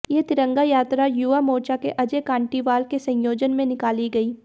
ये तिरंगा यात्रा युवा मोर्चा के अजय कांटीवाल के संयोजन में निकाली गई